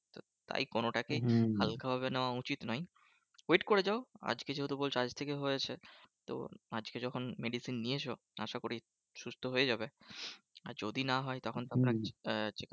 তাই কোনোটাকেই হালকা ভাবে নেওয়া উচিত নয়। wait করে যাও। আজকে যেহেতু বলছো আজকে হয়েছে। তো আজকে যখন medicine নিয়েছো আশা করি সুস্থ হয়ে যাবে। আর যদি না হয় তখন আহ